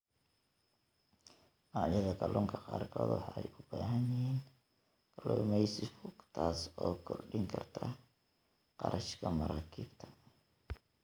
Noocyada kalluunka qaarkood waxay u baahan yihiin kalluumeysi fog, taas oo kordhin karta kharashka maraakiibta.